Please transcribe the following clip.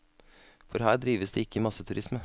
For her drives det ikke masseturisme.